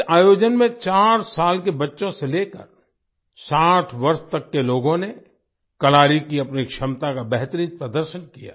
इस आयोजन में 4 साल के बच्चों से लेकर 60 वर्ष तक के लोगों ने कलारी की अपनी क्षमता का बेहतरीन प्रदर्शन किया